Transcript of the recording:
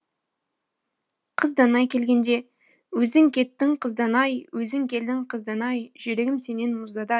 қыз данай келгенде өзің кеттің қыз данай өзің келдің қыз данай жүрегім сенен мұздады ай